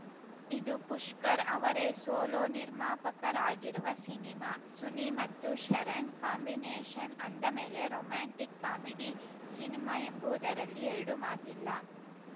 ಇದು ಪುಷ್ಕರ್‌ ಅವರೇ ಸೋಲೋ ನಿರ್ಮಾಪಕರಾಗಿರುವ ಸಿನಿಮಾ ಸುನಿ ಮತ್ತು ಶರಣ್‌ ಕಾಂಬಿನೇಷನ್‌ ಅಂದ ಮೇಲೆ ರೊಮ್ಯಾಂಟಿಕ್‌ ಕಾಮಿಡಿ ಸಿನಿಮಾ ಎಂಬುವುದರಲ್ಲಿ ಎರಡು ಮಾತಿಲ್ಲ